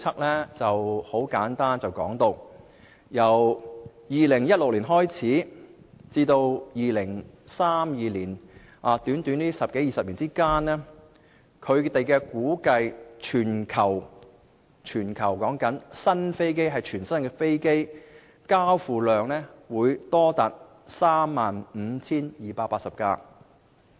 它指出，由2016年開始至2032年，這短短十多二十年間，估計全球全新的飛機交付量會多達 35,280 架。